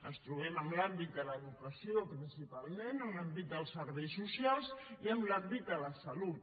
ens trobem en l’àmbit de l’educació principalment en l’àmbit dels serveis socials i en l’àmbit de la salut